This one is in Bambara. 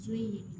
Jo in